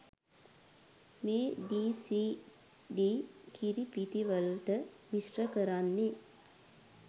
මේ ඩීසීඩී කිරිපිටිවලට මිශ්‍ර කරන්නේ.